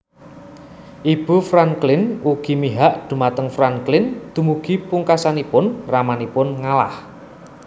Ibu Franklin ugi mihak dhumateng Franklin dumugi pungkasanipun ramanipun ngalah